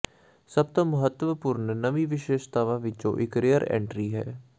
ਸਭ ਤੋਂ ਮਹੱਤਵਪੂਰਣ ਨਵੀਂ ਵਿਸ਼ੇਸ਼ਤਾਵਾਂ ਵਿਚੋਂ ਇਕ ਰੀਅਰ ਐਂਟਰੀ ਹੈ